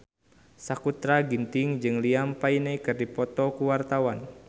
Sakutra Ginting jeung Liam Payne keur dipoto ku wartawan